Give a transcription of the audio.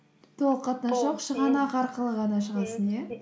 толық қатынасы жоқ шығанақ арқылы ғана шығасың иә